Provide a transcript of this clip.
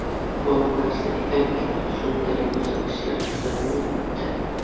Bor narsa ekanki, shunday ko‘rsatkichlar kuzatilyapti.